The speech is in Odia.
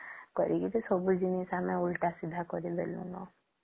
କରିକି ସବୁ ଜିନିଷ ଆମେ ଓଲଟା ସିଧା କରି ଦେଲୁନା